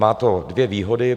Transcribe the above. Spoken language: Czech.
Má to dvě výhody.